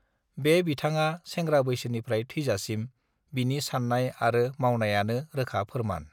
बे बिथांगा सेंग्रा बैसोनिफ्राय थैजासिम बिनि साननाय आरो मावनायानो रोखा फोरमान